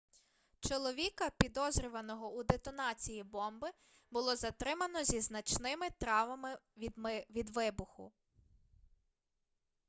чоловіка підозрюваного у детонації бомби було затримано зі значними травмами від вибуху